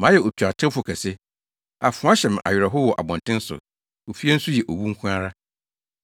mayɛ otuatewfo kɛse. Afoa hyɛ me awerɛhow wɔ abɔnten so; ofie nso yɛ owu nko ara.